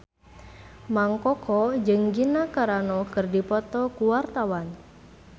Mang Koko jeung Gina Carano keur dipoto ku wartawan